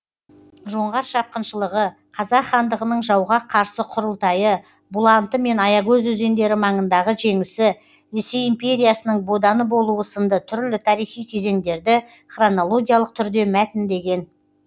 жоңғар шапқыншылығы қазақ хандығының жауға қарсы құрылтайы бұланты мен аягөз өзендері маңындағы жеңісі ресей империясының боданы болуы сынды түрлі тарихи кезеңдерді хронологиялық түрде мәтіндеген